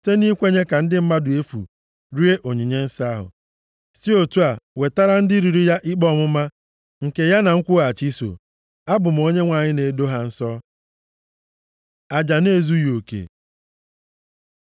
site nʼikwenye ka ndị mmadụ efu rie onyinye nsọ ahụ, si otu a wetara ndị riri ya ikpe ọmụma nke ya na nkwụghachi so. Abụ m Onyenwe anyị onye na-edo ha nsọ.’ ” Aja na-ezughị oke